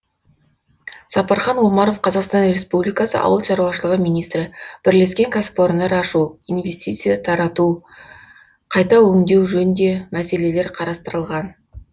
сапархан омаров қазақстан республикасы ауыл шаруашылығы министрі бірлескен кәсіпорындар ашу инвестиция тарту қайта өңдеу жөнінде мәселелер қарастырылған